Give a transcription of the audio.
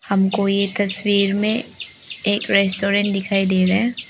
हमको ये तस्वीर में एक रेस्टोरेंट दिखाई दे रहा है।